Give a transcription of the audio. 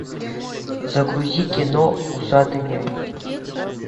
загрузи кино усатый нянь